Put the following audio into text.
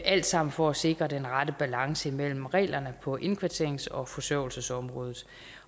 alt sammen for at sikre den rette balance mellem reglerne på indkvarterings og forsørgelsesområdet